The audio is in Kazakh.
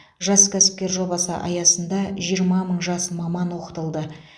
жас кәсіпкер жобасы аясында жиырма мың жас маман оқытылды